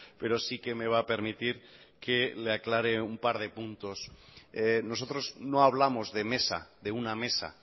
pero sí que me va a permitir que le aclare un par de puntos nosotros no hablamos de mesa de una mesa